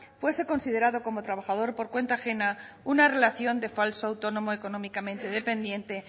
fuese considerado como trabajador por cuenta ajena una relación de falso autónomo económicamente dependiente